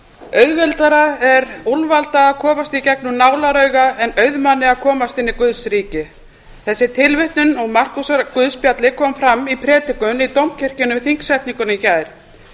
auðveldara er úlfalda að komast í gegnum nálarauga en auðmanni að komast inn í guðs ríki þessi tilvitnun úr markúsarguðspjalli kom fram í predikun í dómkirkjunni við þingsetninguna í gær